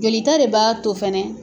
Joli ta de b'a to fɛnɛ.